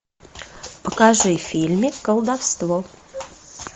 покажи фильмик колдовство